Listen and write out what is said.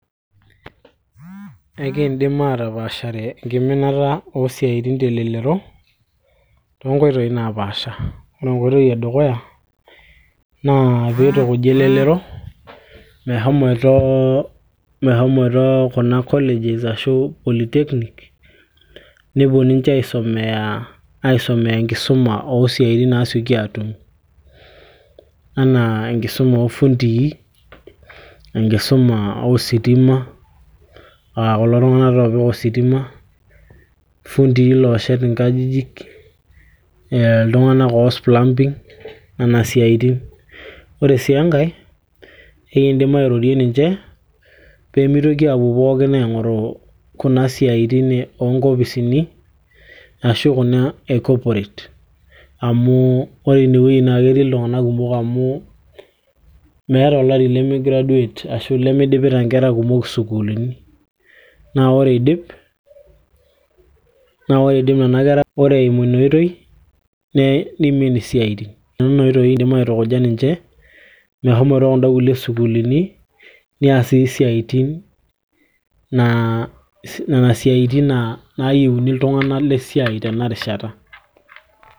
ekiindim atapaashare enkiminata oosiatin telelero toonkoitoi napaasha ore enkoitoi edukuya naa piitukuji elelero meshomoito, meshomoito kuna colleges ashu polytechnic nepuo ninche aisomeya enkisuma oosiaitin naasioki atum anaa enkisuma ofundii, enkisuma ositima aa kulo tung'anak taa opik ositima, ifundii looshet inkajijik ee iltung'anak oos plumbing nena siaitin ore sii enkay ekindim airorie ninche peemitoki aapuo pookin aing'oru kuna siaitin oonkopisini ashu kuna e corporate amu ore inewueji naa ketii iltung'anak kumok amu meeta olari lemi graduate ashu limidipita inkera kumok isukuluni naa ore idip ore eimu ina oitoi nimin isiaitin, tenena oitoi kindim aitukuja ninche mehomoito kunda kulie sukuulini nias sii isiatin naa nena siatin naayieuni iltung'anak lesiai tenarishata.